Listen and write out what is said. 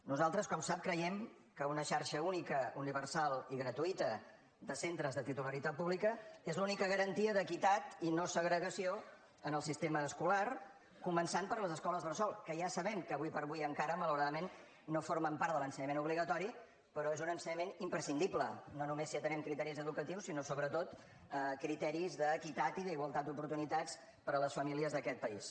nosaltres com sap creiem que una xarxa única universal i gratuïta de centres de titularitat pública és l’única garantia d’equitat i no segregació en el sistema escolar començant per les escoles bressol que ja sabem que ara com ara encara malauradament no formen part de l’ensenyament obligatori però és un ensenyament imprescindible no només si atenem criteris educatius sinó sobretot criteris d’equitat i d’igualtat d’oportunitats per a les famílies d’aquest país